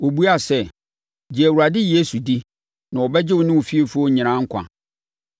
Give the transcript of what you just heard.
Wɔbuaa sɛ, “Gye Awurade Yesu di na ɔbɛgye wo ne wo fiefoɔ nyinaa nkwa.”